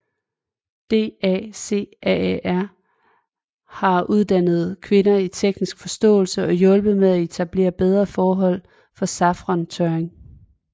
DACAAR har uddannet kvinder i teknisk forståelse og hjulpet med at etablere bedre forhold for safrantørring